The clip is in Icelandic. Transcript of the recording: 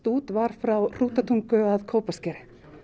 út var frá Hrútatungu að Kópaskeri